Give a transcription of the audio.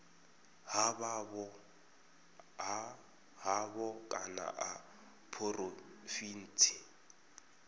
ha havho kana ya phurovintsi